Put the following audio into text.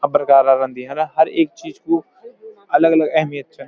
हर प्रकारा का रंदी हेना हर ऐक चीज कु अलग-अलग अहमियत च।